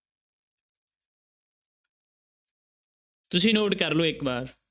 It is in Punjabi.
ਤੁਸੀਂ note ਕਰ ਲਓ ਇੱਕ ਵਾਰ।